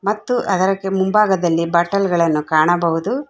ಮತ್ತು ಅದರಕ್ಕೆ ಮುಂಭಾಗದಲ್ಲಿ ಬಾಟಲ್ ಗಳನ್ನು ಕಾಣಬಹುದು.